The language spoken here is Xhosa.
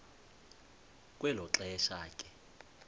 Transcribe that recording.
kwelo xesha ke